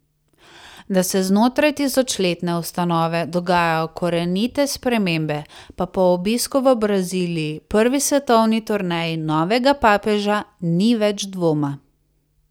Da se znotraj tisočletne ustanove dogajajo korenite spremembe, pa po obisku v Braziliji, prvi svetovni turneji novega papeža, ni več dvoma.